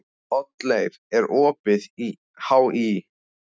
Oddleif, er opið í HÍ?